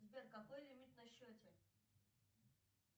сбер какой лимит на счете